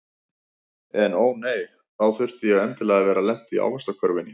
En ó nei, þá þurfti ég endilega að vera lent í ávaxtakörfunni.